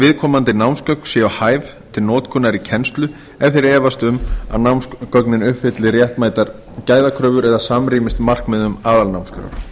viðkomandi námsgögn séu hæf til notkunar í kennslu ef þeir efast um að námsgögnin uppfylli réttmætar gæðakröfur eða samrýmist markmiðum aðalnámskrár